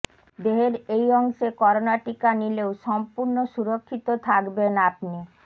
দেহের এই অংশে করোনা টিকা নিলেও সম্পূর্ণ সুরক্ষিত থাকবেন আপনি